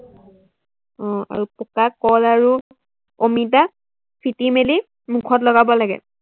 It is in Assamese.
আহ আৰু পকা কল আৰু অমিতা ফেটি মেলি মুখত লগাব লাগে।